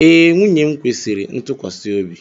Ee, nwunye m kwesịrị ntụkwasị obi.